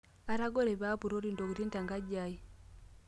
Atagore pee epurrori ntokitin tenkaji ai.